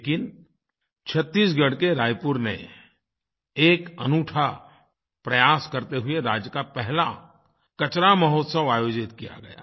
लेकिन छत्तीसगढ़ के रायपुर में एक अनूठा प्रयास करते हुए राज्य का पहला कचरा महोत्सव आयोजित किया गया